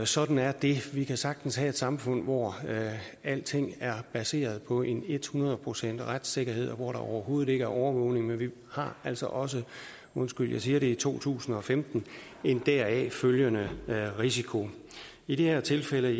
sådan er det vi kan sagtens have et samfund hvor alting er baseret på ethundrede procent retssikkerhed og hvor der overhovedet ikke er overvågning men vi har altså også undskyld jeg siger det i to tusind og femten en deraf følgende risiko i det her tilfælde